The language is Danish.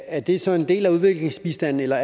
er det så en del af udviklingsbistanden eller